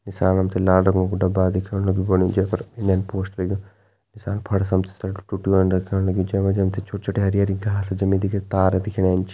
नीसाण हम तें लाल रंगो कु डब्बा दिखेण लग्युं फणी जे पर इंडियन पोस्ट लिख्युं नीसाण फर्स जै मा जी हम ते छोटी छोटी हरी हरी घास जमी दिखेणी तार दिखेणा एंच।